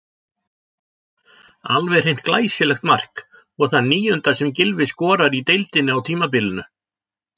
Alveg hreint glæsilegt mark og það níunda sem Gylfi skorar í deildinni á tímabilinu.